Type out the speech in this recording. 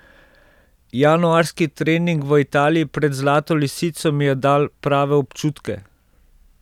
Januarski trening v Italiji pred Zlato lisico mi je dal prave občutke.